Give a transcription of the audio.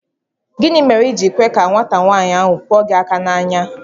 Gịnị mèrè i ji kwé ka nwata nwaanyị ahụ kụọ gị áká n'anya?